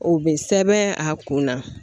O be sɛbɛn a kun na.